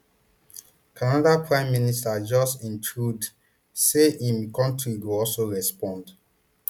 canada prime minister justin trudeau say im kontri go also respond